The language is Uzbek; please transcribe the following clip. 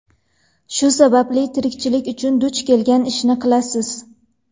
Shu sababli tirikchilik uchun duch kelgan ishni qilasiz.